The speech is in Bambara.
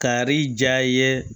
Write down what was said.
Kari ja ye